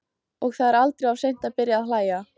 Og það er aldrei of seint að byrja að hlæja.